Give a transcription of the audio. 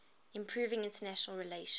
improving international relations